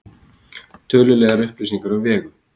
Tölulegar upplýsingar um Vegu: